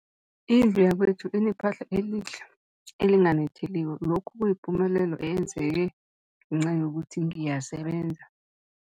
Indlu yakwethu inephahla elihle, elinganetheliko, lokhu kuyipumelelo eyenzeke ngenca yokuthi ngiyasebenza.